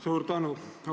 Suur tänu!